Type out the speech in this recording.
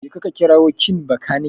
Jeka ka kirawo kin Bakanike.